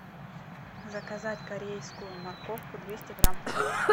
заказать корейскую морковку двести грамм